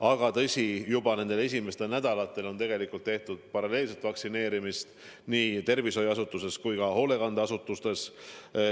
Aga tõsi, juba nendel esimestel nädalatel on tegelikult tehtud paralleelset vaktsineerimist nii tervishoiuasutustes kui ka hoolekandeasutustes.